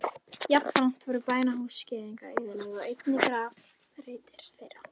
Jafnframt voru bænahús Gyðinga eyðilögð og einnig grafreitir þeirra.